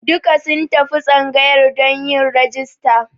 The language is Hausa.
Duka sun tafi tsangayar don yin rajista.